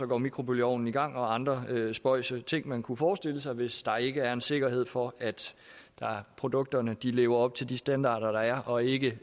går mikrobølgeovnen i gang og andre spøjse ting man kunne forestille sig hvis der ikke er en sikkerhed for at produkterne lever op til de standarder der er og ikke